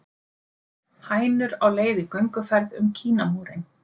Hænur á leið í gönguferð um Kínamúrinn